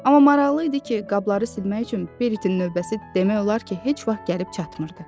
Amma maraqlı idi ki, qabları silmək üçün Beritin növbəsi demək olar ki, heç vaxt gəlib çatmırdı.